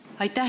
Aitäh!